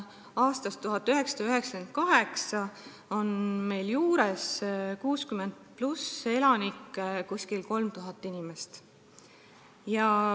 Aastast 1998 on meil 60-aastaseid ja vanemaid elanikke lisandunud umbes 3000.